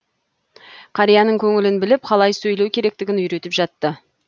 қарияның көңілін біліп қалай сөйлеу керектігін үйретіп жатты